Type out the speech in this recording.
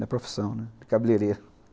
Na profissão, né, de cabeleireiro.